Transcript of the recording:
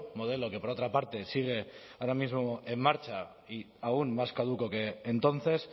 modelo que por otra parte sigue ahora mismo en marcha y aún más caduco que entonces